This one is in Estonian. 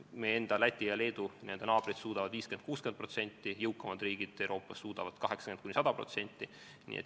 Meie enda naabrid Läti ja Leedu suudavad tagada 50–60%, jõukamad riigid Euroopas suudavad tagada 80–100%.